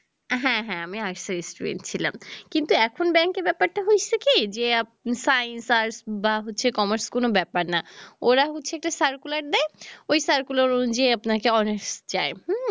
হ্যাঁ হ্যাঁ আমি arts এর student ছিলাম কিন্তু এখন ব্যাংকের ব্যাপার টা হইসে কি যে আপনি science arts বা commerce কোনো ব্যাপার না ওরা হচ্ছে একটা circular দেয় ওই circular অনুযায়ীই আপনাকে honers চায় হম